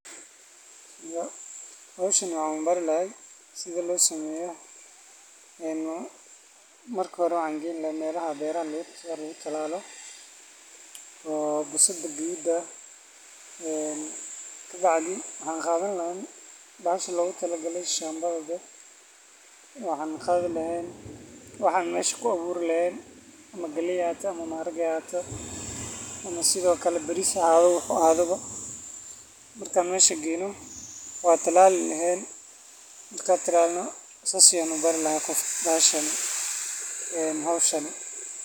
Howshaan waxan bari laha sida losameyo een marka hore waxan geyni laga melaha beraha lagutalalo oo bisida gadudka ah een kabacdi waxan qadani lahaa bahashaan logutalagalay shadada, waxan qadii laha waxan mesha kuaburi lahen ama galeey haahato ama maharage haahato, ama Sidhokale bariis haahado wuxu ahado ba, markan mesha geyno, wan talaali lahen, markan talalno sas ayan ubari laha gof een howshaan.